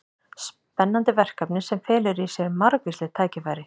Spennandi verkefni sem felur í sér margvísleg tækifæri.